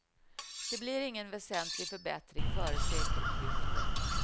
Det blir ingen väsentlig förbättring före sekelskiftet.